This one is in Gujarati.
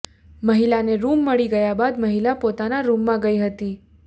મહિલાને રૂમ મળી ગયા બાદ મહિલા પોતાના રૂમમાં ગઈ હતી